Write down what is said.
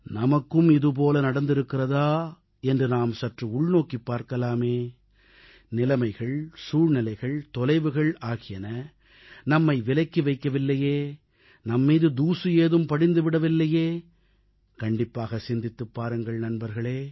நமக்கும் இதுபோல நடந்திருக்கிறதா என்று நாம் சற்று உள்நோக்கிப் பார்க்கலாமே நிலைமைகள் சூழ்நிலைகள் தொலைவுகள் ஆகியன நம்மை விலக்கி வைக்கவில்லையே நம்மீது தூசு ஏதும் படிந்து விடவில்லையே கண்டிப்பாக சிந்தித்துப் பாருங்கள் நண்பர்களே